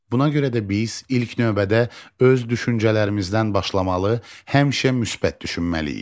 Buna görə də biz ilk növbədə öz düşüncələrimizdən başlamalı, həmişə müsbət düşünməliyik.